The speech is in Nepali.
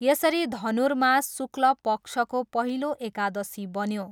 यसरी धनुर्मास शुक्ल पक्षको पहिलो एकादशी बन्यो।